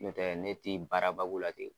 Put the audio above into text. N'o tɛ ne ti baara ba k'u la ten.